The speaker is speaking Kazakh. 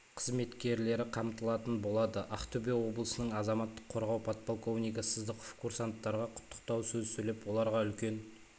қызметкері қамтылатын болады ақтөбе облысының азаматтық қорғау подполковнигі сыздықов курсанттарға құттықтау сөз сөйлеп оларға үлкен